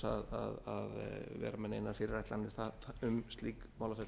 vera með neinar fyrirætlanir um slík málaferli